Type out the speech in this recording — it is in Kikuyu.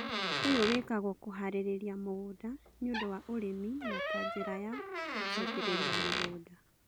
ũyũ wĩkagwo kũharĩrĩria mũgũnda nĩũndũ wa ũrĩmi na ta njĩra ya gũcokereria mũgũnda